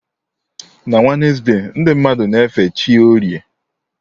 Na Wednesde, ndị mmadụ na-efe chi orie.